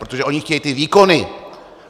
Protože oni chtějí ty výkony.